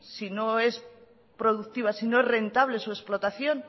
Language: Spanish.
si no es productiva si no es rentable su explotación